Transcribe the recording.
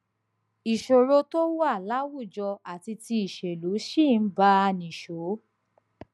ìṣòro tó wà láwùjọ àti ti ìṣèlú ṣì ń bá a nìṣó